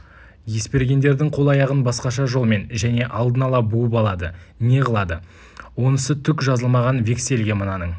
есбергендердің қол-аяғын басқаша жолмен және алдын ала буып алады не қылады онысы түк жазылмаған вексельге мынаның